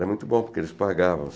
Era muito bom, porque eles pagavam.